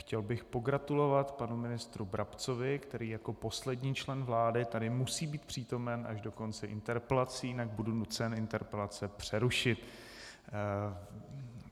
Chtěl bych pogratulovat panu ministrovi Brabcovi, který jako poslední člen vlády tady musí být přítomen až do konce interpelací, jinak budu nucen interpelace přerušit.